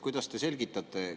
Kuidas te seda selgitate?